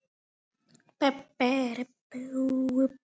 Heimir: Má ég smakka?